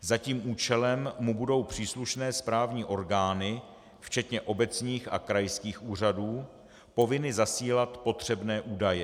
Za tím účelem mu budou příslušné správní orgány včetně obecních a krajských úřadů povinny zasílat potřebné údaje.